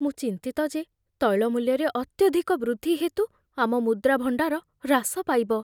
ମୁଁ ଚିନ୍ତିତ ଯେ ତୈଳ ମୂଲ୍ୟରେ ଅତ୍ୟଧିକ ବୃଦ୍ଧି ହେତୁ ଆମ ମୁଦ୍ରା ଭଣ୍ଡାର ହ୍ରାସ ପାଇବ।